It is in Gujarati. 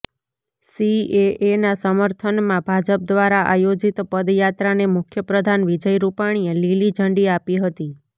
સીએએના સમર્થનમાં ભાજપ દ્વારા આયોજિત પદયાત્રાને મુખ્ય પ્રધાન વિજય રૂપાણીએ લીલી ઝંડી આપી હતી